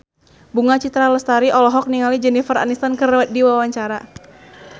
Bunga Citra Lestari olohok ningali Jennifer Aniston keur diwawancara